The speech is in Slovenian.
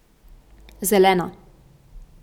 Zelena.